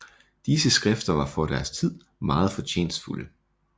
Disse skrifter var for deres tid meget fortjenstfulde